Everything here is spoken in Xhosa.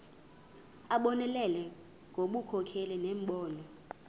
abonelele ngobunkokheli nembono